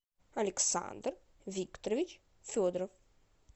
александр викторович федоров